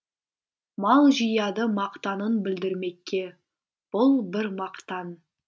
мал жияды мақтанын білдірмекке бұл бір мақтан